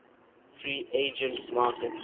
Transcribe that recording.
free agent market